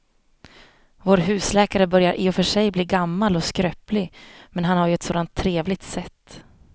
Vår husläkare börjar i och för sig bli gammal och skröplig, men han har ju ett sådant trevligt sätt!